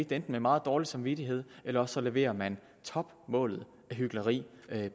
det med meget dårlig samvittighed eller også leverer man topmålet af hykleri